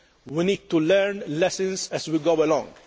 We need to learn lessons as we go along.